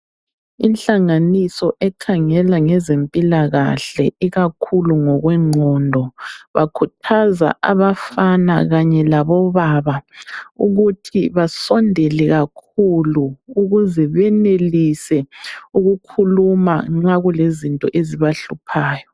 Inhlanganiso ekhangela ngezempilakahle ikakhulu ngokwengqondo, bakhuthaza abafana kanye labo baba ukuthi basondele kakhulu ukuze benelise ukukhuluma ma kulezinto ezibahluphayo.